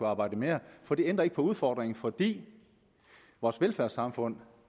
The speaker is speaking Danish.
arbejde mere for det ændrer ikke på udfordringen fordi vores velfærdssamfund